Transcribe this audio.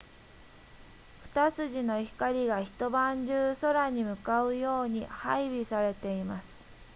二筋の光が一晩中空に向かうように配備されています